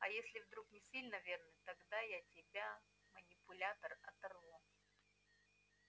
а если вдруг не сильно верный тогда я тебя манипулятор оторву